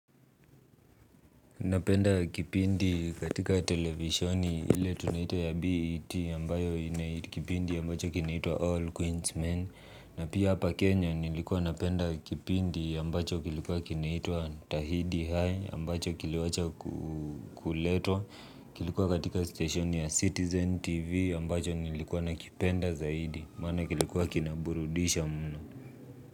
Napenda kipindi katika televisioni ili tunaita ya BET ambayo ina kipindi ambacho kinaitwa All Queens Men. Na pia hapa Kenya nilikuwa napenda kipindi ambacho kilikuwa kinaitwa Tahidi High ambacho kiliwacha kuletwa. Kilikuwa katika stationi ya Citizen TV ambacho nilikuwa nakipenda zaidi maana kilikuwa kinaburudisha mno.